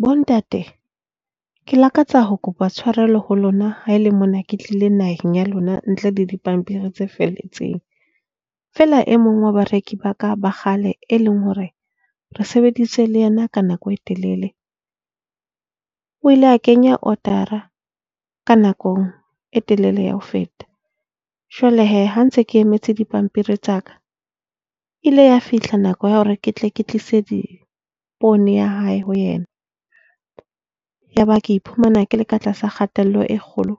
Bontate, ke lakatsa ho kopa tshwarelo ho lona, ha e le mona ke tlile naheng ya lona ntle le dipampiri tse felletseng. Fela e mong wa bareki ba ka ba kgale, e leng hore re sebeditse le yena ka nako e telele o ile a kenya order-a ka nako e telele ya ho feta. Jwale he, ha ntse ke emetse dipampiri tsa ka e ile ya fihla nako ya hore ke tle ke tlise dipoone ya hae ho yena. Yaba ke iphumana ke le ka tlasa kgatello e kgolo